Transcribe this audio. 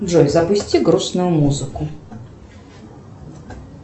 джой запусти грустную музыку